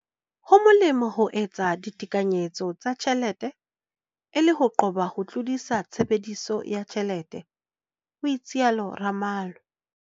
"Ho molemo ho etsa ditekanyetso tsa tjhelete e le ho qoba ho tlodisa tshebediso ya tjhelete," ho itsalo Ramalho.